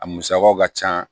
A musakaw ka ca